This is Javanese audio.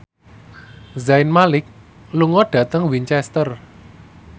Zayn Malik lunga dhateng Winchester